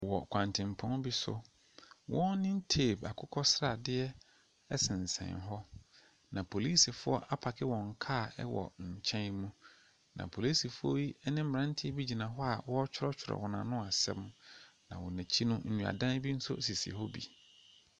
Wɔ kwantempɔn bi so. Warning tape akokɔ sradeɛ sensɛn hɔ, na polisifoɔ apake wɔn kaa wɔ nkyɛn mu, na polisifoɔ yi ne mmeranteɛ bi gyina hɔ a wɔretwerɛtwerɛ wɔn ano asɛm, na wɔn akyi no, nnuadan bi nso sisi hɔ bi.